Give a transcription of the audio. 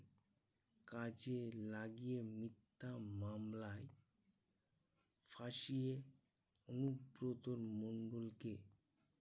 কাজে লাগিয়ে মিথ্যা মামলায় ফাঁসিয়ে অনুব্রত মন্ডল কে